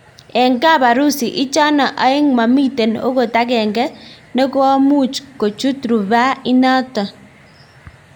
Eng kaparusi ichano aeng mamiten okot agenge nekomuchkuchut rufaa inanito.